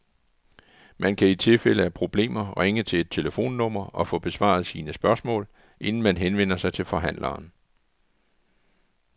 Man kan i tilfælde af problemer ringe til et telefonnummer og få besvaret sine spørgsmål, inden man henvender sig til forhandleren.